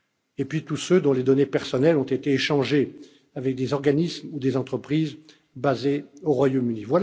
Et puis, tous ceux dont les données personnelles ont été échangées avec des organismes ou des entreprises basées au Royaume